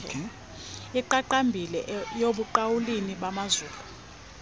iqaqambileyo yobuqaqawuli bamazulu